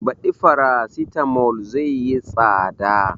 Baɗi farasitamol zai yi tsada